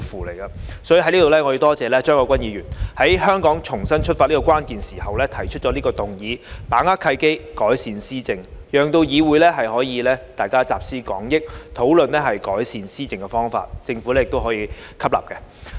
在此，我感謝張國鈞議員，在香港重新出發的關鍵時刻提出"把握契機，改善施政"這項議案，讓議會可以集思廣益，討論改善施政的方法，也讓政府亦可以吸納相關意見。